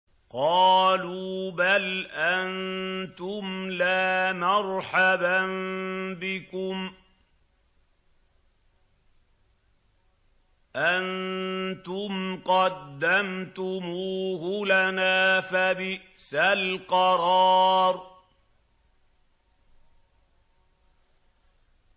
قَالُوا بَلْ أَنتُمْ لَا مَرْحَبًا بِكُمْ ۖ أَنتُمْ قَدَّمْتُمُوهُ لَنَا ۖ فَبِئْسَ الْقَرَارُ